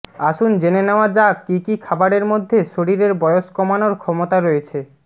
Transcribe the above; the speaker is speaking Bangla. আসুন জেনে নেওয়া যাক কী কী খাবারের মধ্যে শরীরের বয়স কমানোর ক্ষমতা রয়েছে